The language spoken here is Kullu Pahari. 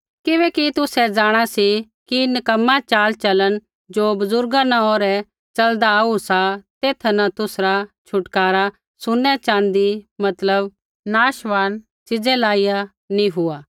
किबैकि तुसै जाँणा सी कि नक्कमा चालचलन ज़ो बुज़ुर्गा न ओरै च़लदा आऊ सा तेथा न तुसरा छुटकारा सुनै च़ाँदी मतलब नाशमान च़ीज़ै लाइया नी हुआ